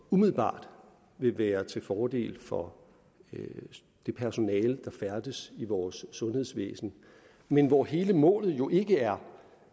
umiddelbart vil være til fordel for det personale der færdes i vores sundhedsvæsen men hvor hele målet jo ikke er